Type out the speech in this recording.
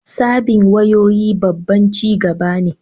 Sabbin wayoyi babban ci gaba ne